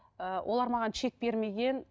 ыыы олар маған чек бермеген